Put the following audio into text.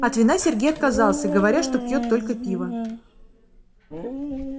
от вина сергей отказался говоря что пьёт только пиво